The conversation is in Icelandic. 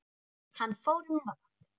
Hann fór um nótt.